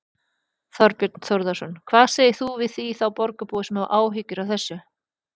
Þorbjörn Þórðarson: Hvað segir þú við þá borgarbúa sem hafa áhyggjur af þessu?